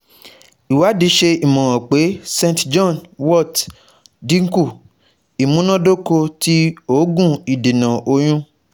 Iwadi ṣe imọran pe st John wort dinku imunadoko ti oogun idena oyun